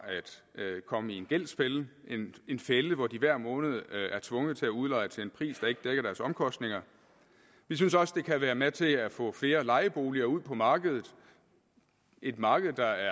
at komme i en gældsfælde en fælde hvor de hver måned er tvunget til at udleje til en pris der ikke dækker deres omkostninger vi synes også det kan være med til at få flere lejeboliger ud på markedet et marked der